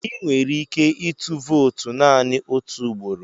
Ị nwere ike ịtụ vootu naanị otu ugboro.